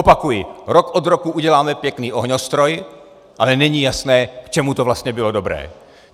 Opakuji, rok od roku uděláme pěkný ohňostroj, ale není jasné, k čemu to vlastně bylo dobré.